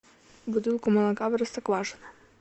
бутылку молока простоквашино